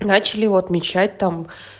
начали его отмечать там